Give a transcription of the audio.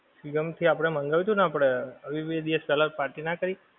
swiggy માથી આપણે મગાવ્યું તું ને આપણે આવી બે દિવસ પેહલા party ના કરી.